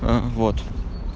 а вот